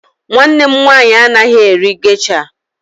Nwanne m nwaanyị anaghị eri gesha.